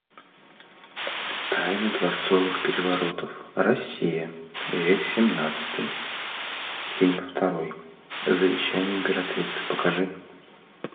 тайны дворцовых переворотов россия век семнадцатый фильм второй завещание императрицы покажи